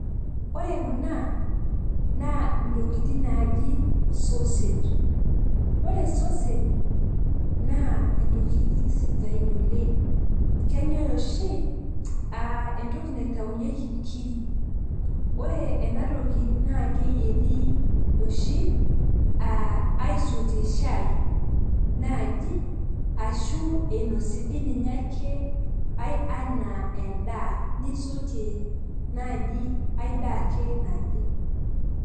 Ore kuna naa ntokitin naji sausage. Ore sausage naa ntokitin sidain oleng. Kenyae oshi aa entoki naitayunyieki nkiri ,ore ena toki naa keyieri oshi aisotie shai naji, ashu inosi dii ninye ake ae anaa endaa, nisotie naji ae daa ake naje.